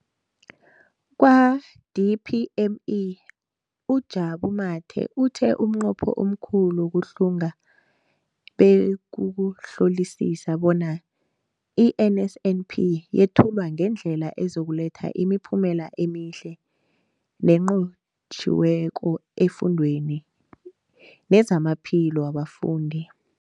Kwa-DPME, uJabu Mathe, uthe umnqopho omkhulu wokuhlunga bekukuhlolisisa bona i-NSNP yethulwa ngendlela ezokuletha imiphumela emihle nenqotjhiweko efundweni nezamaphilo wabafundi.